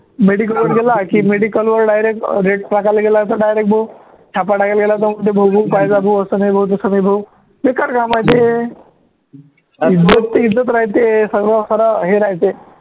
medical वर गेला की medical वर direct rate टाकायला गेला direct भाऊ छापा टाकायला गेला तो असं नाही भाऊ तसं नाही भाऊ बेकार काम आहे ते इज्जत राहते सर्व